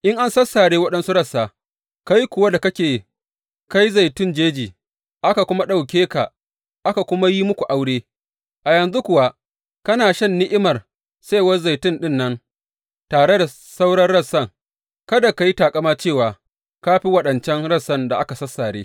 In an sassare waɗansu rassa, kai kuwa da kake kai zaitun jeji, aka ɗauke ka aka kuma yi muku aure, a yanzu kuwa kana shan ni’imar saiwar zaitun ɗin nan tare da sauran rassan, kada ka yi taƙama cewa ka fi waɗancan rassan da aka sassare.